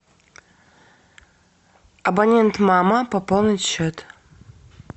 абонент мама пополнить счет